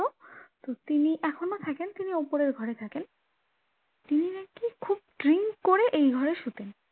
তো তিনি এখনো থাকেন তিনি উপরের ঘরে থাকেন তিনি নাকি খুব drink করে এই ঘরে শুতেন